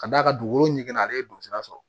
Ka d'a kan dugukolo ɲɛnama ale ye don sira sɔrɔ